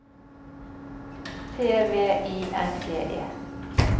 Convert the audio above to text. T V I N G E